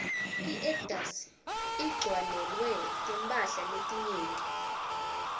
iedgas igcwaielwe timphala letinyenti